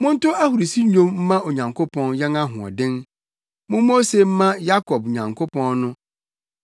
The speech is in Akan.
Monto ahurusi dwom mma Onyankopɔn yɛn ahoɔden; mommɔ ose mma Yakob Nyankopɔn no!